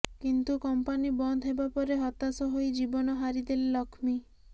କିନ୍ତୁ କମ୍ପାନୀ ବନ୍ଦ ହେବା ପରେ ହତାଶ ହୋଇ ଜୀବନ ହାରିଦେଲେ ଲକ୍ଷ୍ମୀ